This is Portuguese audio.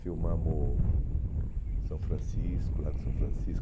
Filmamos são Francisco, Lago São Francisco.